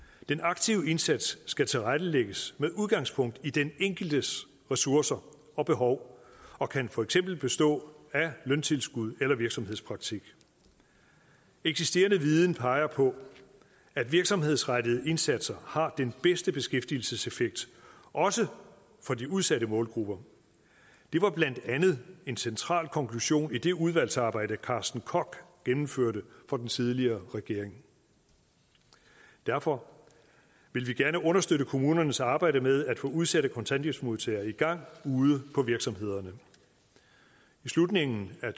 den aktive indsats skal tilrettelægges med udgangspunkt i den enkeltes ressourcer og behov og kan for eksempel bestå af løntilskud eller virksomhedspraktik eksisterende viden peger på at virksomhedsrettede indsatser har den bedste beskæftigelseseffekt også for de udsatte målgrupper det var blandt andet en central konklusion i det udvalgsarbejde carsten koch gennemførte for den tidligere regering derfor vil vi gerne understøtte kommunernes arbejde med at få udsatte kontanthjælpsmodtagere i gang ude på virksomhederne i slutningen af